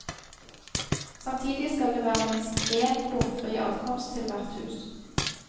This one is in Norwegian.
Samtidig skal det være minst én bomfri adkomst til hvert hus.